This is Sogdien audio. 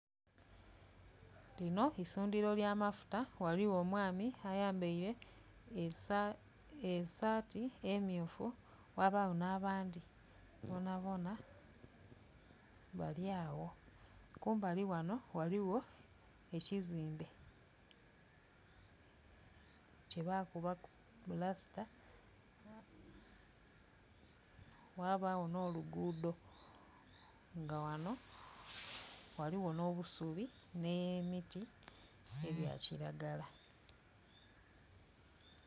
Lino isundhiro lya mafuta ghaligho omwami ayambeire esaati emyufu ghabagho n'abandhi bonabona balyagho kumbali ghano ghaligho ekizimbe kye baakubaku pulasita, ghabagho nh'olugudo nga ghano ghaligho n'obusubi ne miti egya kiragala